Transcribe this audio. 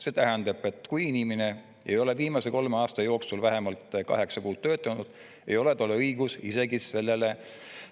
See tähendab, et kui inimene ei ole viimase kolme aasta jooksul vähemalt kaheksa kuud töötanud, ei ole tal õigust isegi sellele